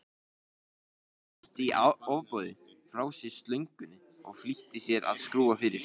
Stjáni henti í ofboði frá sér slöngunni og flýtti sér að skrúfa fyrir.